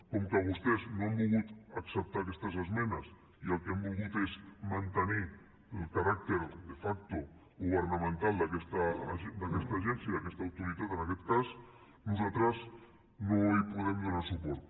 com que vostès no han volgut acceptar aquestes esmenes i el que han volgut és mantenir el caràcter de facto governamental d’aquesta agència d’aquesta autoritat en aquest cas nosaltres no hi podem donar suport